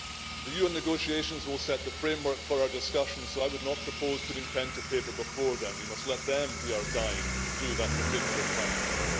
The UN negotiations will set the framework for our discussion so I would not propose putting pen to paper before then we must let them be our guide through that particular quagmire.